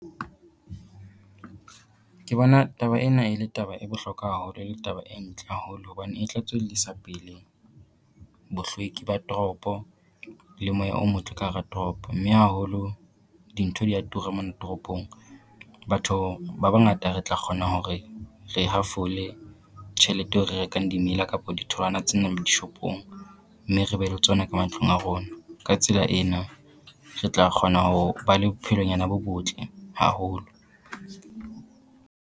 Ke bona taba ena e le taba e bohlokwa haholo e le taba e ntle haholo, hobane e tla tswellisa pele bohlweki ba toropo le moya o motle ka hara toropo, mme haholo dintho dia tura mona toropong. Batho ba bangata re tla kgona hore re hafole tjhelete eo re rekang dimela kapo ditholwana tsena mo dishopong, mme re be le tsona ka matlung a rona. Ka tsela ena re tla kgona ho ba le bophelonyana bo botle haholo.